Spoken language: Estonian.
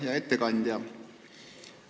Hea ettekandja!